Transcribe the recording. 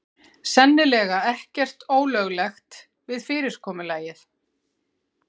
Sennilega ekkert ólöglegt við fyrirkomulagið